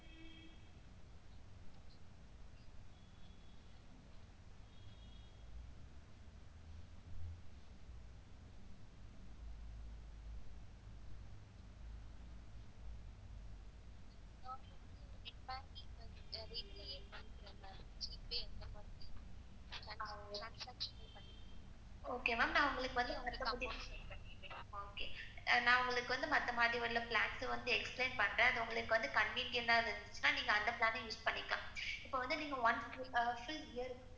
Okay maam? நான் உங்களுக்கு வந்து மத்த plans explain பண்றேன். அது உங்களுக்கு convenient இருந்துச்சுன்னா நீங்க அந்த plans use பண்ணிக்கலாம். இப்ப வந்து நீங்க one full year,